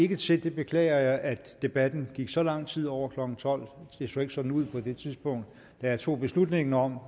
til det beklager jeg at debatten ville gå så lang tid over klokken tolvte det så ikke sådan ud på det tidspunkt da jeg tog beslutningen om